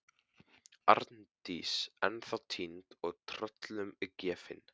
Arndís ennþá týnd og tröllum gefin.